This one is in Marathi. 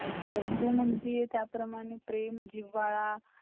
चांगल्या चांगल्या आय्कावायचं जे खर आहे त्यांना सरकार नी promote केल पाहिजे किवा त्यांचा